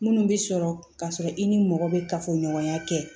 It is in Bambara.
Minnu bɛ sɔrɔ k'a sɔrɔ i ni mɔgɔ bɛ kafoɲɔgɔnya kɛ